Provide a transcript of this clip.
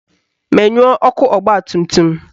Menyuo ọkụ ọgbatumtum!